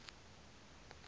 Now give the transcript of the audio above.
lezempilo